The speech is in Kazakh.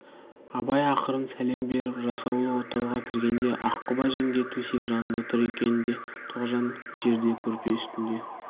абай ақырын сәлем беріп жасаулы отауға кіргенде аққұба жеңге төсек жанында тұр екен де тоғжан жерде көрпе үстінде